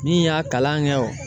Min y'a kalan kɛ o